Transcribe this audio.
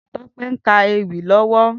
Tope n kà éwì lòwò